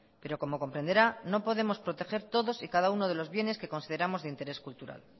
pero como comprenderá no podemos proteger todos y cada uno de los bienes que consideramos de interés cultural